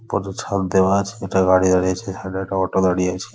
কতছাপ দেওয়া আছে দুটা গাড়ি দাঁড়িয়ে আছে সাইডে একটা অটো দাঁড়িয়ে আছে ।